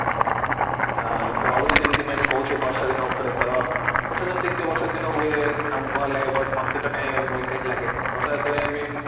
ଆଁ କରୁଥିଲି ଯେମିତି ମୁଁ କହୁଥିଲି ବର୍ଷା ଦିନ ଉପରେ ତ ବର୍ଷା ଦିନେ ଦେଖିଥିବ ବର୍ଷା ଦିନ ହୁଏ ଆମକୁ ଭଲ ଲାଗେ but ମତେ ତ କାଇଁ irritate ଲାଗେ ବର୍ଷା ଯେତେବେଳେ I mean